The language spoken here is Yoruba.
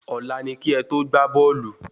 Ọlá ni ki é to gbà bóòlù